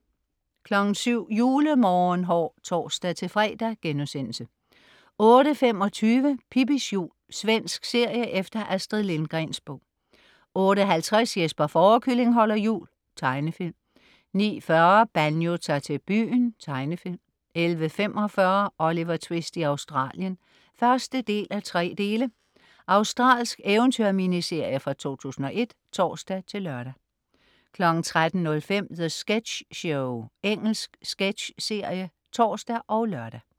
07.00 Julemorgenhår (tors-fre)* 08.25 Pippis jul. Svensk serie efter Astrid Lindgrens bog 08.50 Jesper Fårekylling holder jul. Tegnefilm 09.40 Banjo tager til byen. Tegnefilm 11.45 Oliver Twist i Australien (1:3). Australsk eventyr-miniserie fra 2001 (tors-lør) 13.05 The Sketch Show. Engelsk sketchserie (tors og lør)